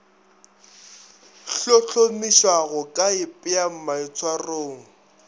hlohlomiša go ka ipea maitshwarong